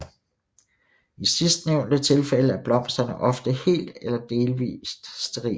I sidstnævnte tilfælde er blomsterne ofte helt eller delvit sterile